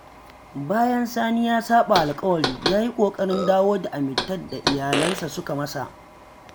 Bayan Sani ya saɓa alƙawari, ya yi ƙoƙarin dawo da amintar da iyalinsa suka masa.